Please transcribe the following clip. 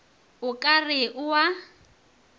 o ka re o a